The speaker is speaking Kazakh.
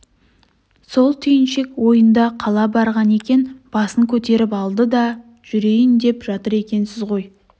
сол түйіншек ойында қала барған екен басын көтеріп алды даа жүрейін деп жатыр екенсіз ғой